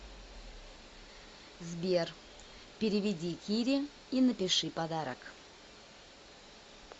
сбер переведи кире и напиши подарок